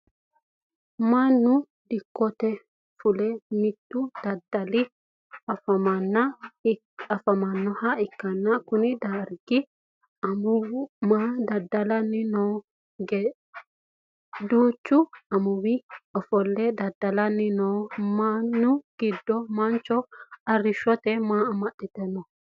Mannu dikote fule mitu dada'lanni afamanoha ikanna Konne darga amuuwu maa dada'lanni no? Duuchu manni ofole dada'lanni noo manni gido mancho arishote maa amaxite no?